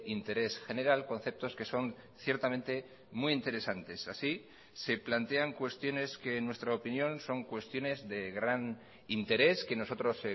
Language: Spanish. interés general conceptos que son ciertamente muy interesantes así se plantean cuestiones que en nuestra opinión son cuestiones de gran interés que nosotros